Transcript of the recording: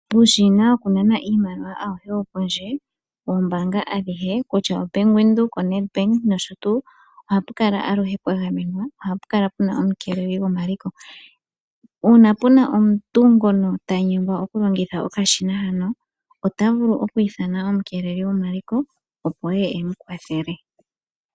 Uushina wokunana iimaliwa awuhe wopondje, wombaanga adhihe kutya oBank Windhoek, Nedbank nosho tuu. Oha pukala aluhe pwagamenwa, oha pukala puna omukeeleli gomaliko. Uuna puna omuntu ngono tanyengwa okulongitha okashina hano otavulu okwiithana omukeeleli gomaliko opo eye emukwathele.